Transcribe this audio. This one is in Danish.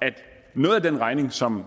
at noget af den regning som